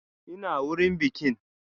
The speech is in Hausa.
Ina wurin bikin?